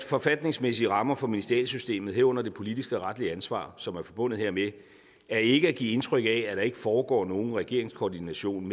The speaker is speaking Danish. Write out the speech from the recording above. forfatningsmæssige rammer for ministerialsystemet herunder det politiske og retlige ansvar som er forbundet hermed er ikke at give indtryk af at der ikke foregår nogen regeringskoordination